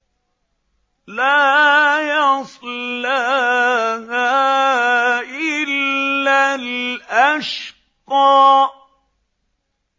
لَا يَصْلَاهَا إِلَّا الْأَشْقَى